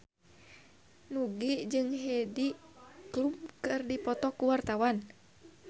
Nugie jeung Heidi Klum keur dipoto ku wartawan